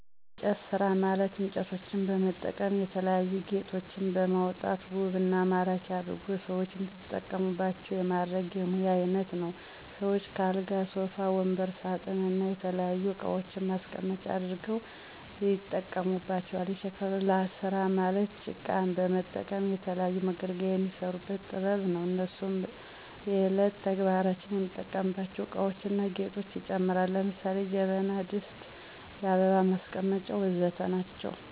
የእንጨት ስራ ማለት እንጨቶችን በመጠቀም የተለያዩ ጌጦችን በማውጣት ውብ እና ማራኪ አድርጎ ሰዎች እንዲጠቀሙባቸው የማድረግ የሙያ አይነት ነው። ሰዎችም ከአልጋ ሶፋ ወንበር ሳጥን እና የተለያዩ እቃዋችን ማስቀመጫ አድርገው ያጠቀሙባቸዋል። የሸክላ ስራ ማለት ጭቃን በመጠቀም ለተለያዩ መገልገያዎች የሚሰሩበት ጥበብ ነው። እነሱም በእየለት ተግባራችን የምንጠቀምባቸው እቃዎችን እና ጌጦችን ይጨምራል። ለምሳሌ ጀበና ድስት የአበባ ማስቀመጫ ወዘተ ናቸው